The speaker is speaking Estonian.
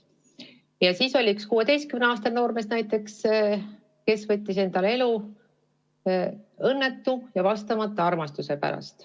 Ja näiteks üks 16-aastane noormees võttis endalt elu õnnetu, vastamata armastuse pärast.